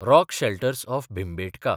rock shelters of Bhimbetka